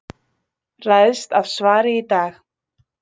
Ræðst af svari í dag